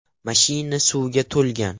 Mashina suvga to‘lgan.